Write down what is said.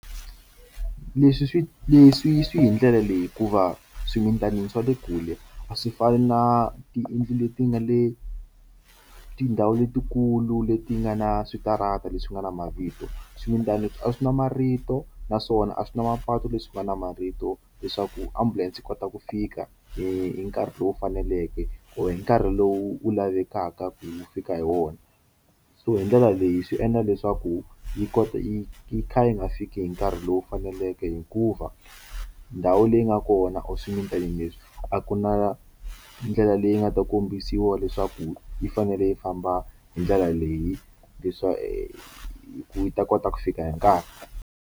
Leswi swi leswi swi hi ndlela leyi hikuva eswimitanini swa le kule a swi fani na tiyindlu leti nga le tindhawu letikulu leti nga na switarata leswi nga na mavito swimilani a swi nwa marito naswona a swi na mapatu leswi nga na marito leswaku ambulense yi kota ku fika hi nkarhi lowu faneleke or hi nkarhi lowu wu lavekaka ku fika hi wona so hi ndlela leyi swi endla leswaku yi kota yi yi kha yi nga fiki hi nkarhi lowu faneleke hikuva ndhawu leyi nga kona or swimilani leswi a ku na ndlela leyi nga ta kombisiwa leswaku yi fanele yi famba hi ndlela leyi leswa ku ta kota ku fika hi nkarhi.